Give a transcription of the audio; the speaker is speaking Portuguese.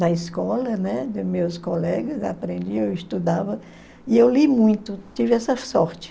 na escola, né, dos meus colegas, aprendi, eu estudava, e eu li muito, tive essa sorte.